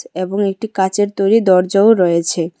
এবং একটি কাঁচের তৈরি দরজাও রয়েছে।